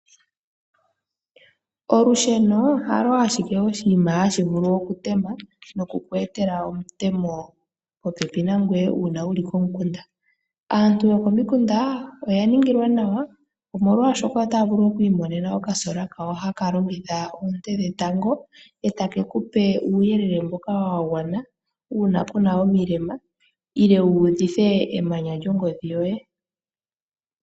Olusheno halo ashike oshinima hashi vulu oku tema noku ku etela omutemo popepi nangoye uuna wuli komukunda. Aantu yokomikunda oya ningilwa nawa omolwaashoka otaya vulu oku imonena okasola kawo haka longitha oonte dhetango, etake kupe uuyelele mboka wa gwana uuna ku na omilema, nenge wu udhithe emanya lyongodhi yoye.